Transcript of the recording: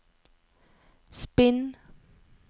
spinn